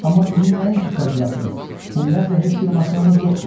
Amma bizim nəinki Kadillakımız, ümumiyyətlə heç bir maşınımız yoxdur.